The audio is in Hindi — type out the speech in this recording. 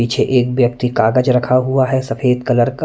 पीछे एक व्यक्ति कागज रखा हुआ है सफेद कलर का--